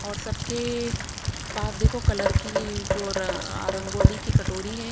और सबकेएए पास देखो कलर की जो र अं आ रंगोली की कटोरी है।